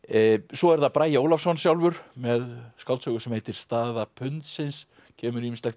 svo er það Bragi Ólafsson sjálfur með skáldsögu sem heitir staða pundsins kemur ýmislegt